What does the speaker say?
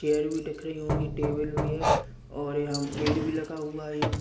Chair भी टक री होंगी टेबल भी हैंऔर यहाँ पेड़ भी लगा हुआ हैं।